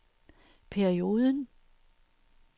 perioden